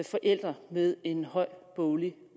forældre med en høj boglig